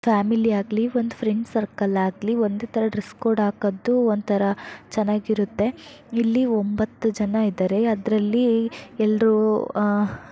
family ಆಗ್ಲಿ ಒಂದು friends circle ಆಗಲಿ ಒಂದೇ ತರ ಡ್ರೆಸ್ ಕೋಡ್ ಹಾಕೋದು ಒಂತರಾ ಚೆನ್ನಾಗಿರುತ್ತೆ ಇಲ್ಲಿ ಒಂಬತ್ತು ಜನ ಇದ್ದಾರೆ ಅದರಲ್ಲಿ ಎಲ್ಲರಿಗೂ ಅಹ್